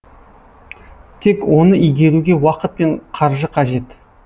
тек оны игеруге уақыт пен қаржы қажет